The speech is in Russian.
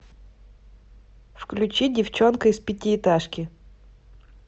включи девчонка из пятиэтажки